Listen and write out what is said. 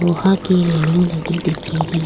लोहा की रेलिंग लगी दिख री।